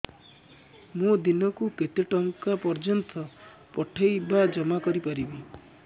ମୁ ଦିନକୁ କେତେ ଟଙ୍କା ପର୍ଯ୍ୟନ୍ତ ପଠେଇ ବା ଜମା କରି ପାରିବି